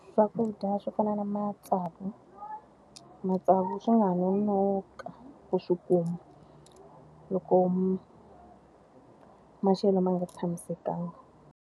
Swakudya swo fana na matsavu. Matsavu swi ha nga nonoka u swi kuma loko ma maxelo ma nga tshamisekanga.